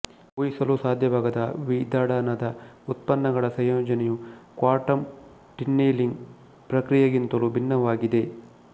ಊಹಿಸಲು ಸಾಧ್ಯವಾಗದ ವಿದಳನದ ಉತ್ಪನ್ನಗಳ ಸಂಯೋಜನೆಯು ಕ್ವಾಂಟಮ್ ಟನ್ನೆಲಿಂಗ ಪ್ರಕ್ರಿಯೆಗಿಂತಲೂ ಭಿನ್ನವಾಗಿದೆ